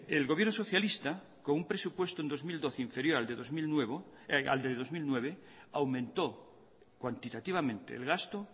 el gobierno socialista con un presupuesto en dos mil doce inferior al de dos mil nueve aumentó cuantitativamente el gasto